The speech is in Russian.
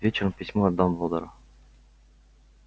вечером письмо от дамблдора